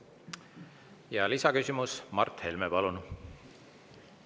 Ja lisaküsimus, Mart Helme, palun!